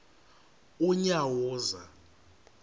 unyawuza